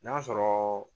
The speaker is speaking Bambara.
N'a sɔrɔ